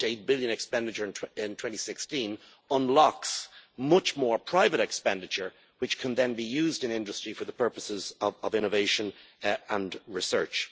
1.8 billion in expenditure in 2016 unlocks much more private expenditure which can then be used in industry for the purposes of innovation and research.